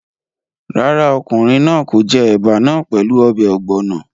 Rárá, ọkùnrin náà kò jẹ ẹ̀bà náà pẹ̀lú ọbẹ̀ ọ̀gbọ̀nọ̀